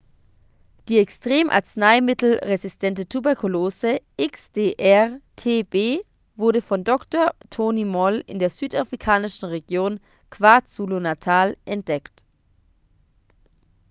die extrem-arzneimittelresistente tuberkulose xdr-tb wurde von dr. tony moll in der südafrikanischen region kwazulu-natal entdeckt